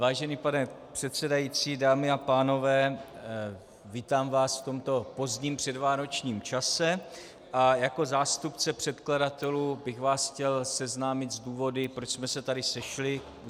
Vážený pane předsedající, dámy a pánové, vítám vás v tomto pozdním předvánočním čase a jako zástupce předkladatelů bych vás chtěl seznámit s důvody, proč jsme se tady sešli.